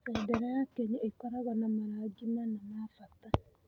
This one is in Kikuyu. Bendera ya Kenya ĩkoragwo na marangi mana ma bata.